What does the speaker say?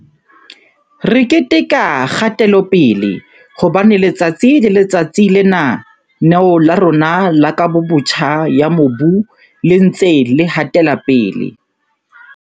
Re keteka kgatelopele, hobane letsatsi le letsatsi Lena-neo la rona la Kabobotjha ya Mobu le ntse le hatela pele.